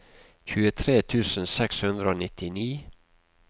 tjuetre tusen seks hundre og nittini